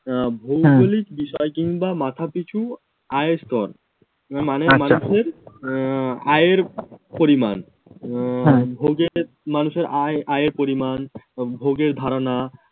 আহ ভৌগলিক বিষয় কিংবা মাথাপিছু আয় স্তর মানে মানুষের আহ আয়ের পরিমাণ আহ আহ ভোগের মানুষের আয় আয়ের পরিমান ভোগের ধারণা